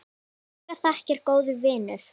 Kærar þakkir, góði vinur.